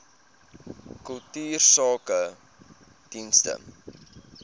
kultuursakedienste